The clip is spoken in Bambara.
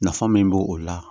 Nafa min b'o o la